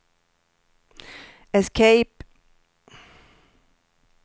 escape